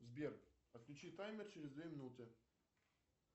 сбер отключи таймер через две минуты